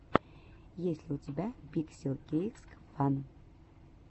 есть ли у тебя пикселкейксфан